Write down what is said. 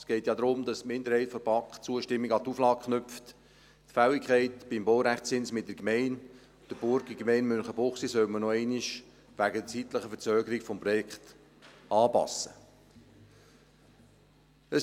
Es geht ja darum, dass die Minderheit der BaK die Zustimmung an die Auflage knüpft, dass man die Fälligkeit beim Baurechtszins wegen zeitlicher Verzögerungen des Projektes mit der Gemeinde und der Burgergemeinde Münchenbuchsee noch einmal anpassen solle.